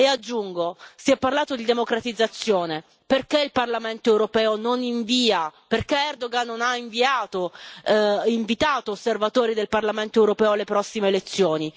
E aggiungo, si è parlato di democratizzazione perché il Parlamento europeo non invia, perché Erdoğan non ha invitato osservatori del Parlamento europeo alle prossime elezioni?